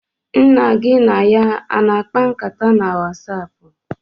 Nna gị na ya a na-akpa nkata na Wasapụ?